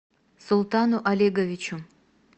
султану олеговичу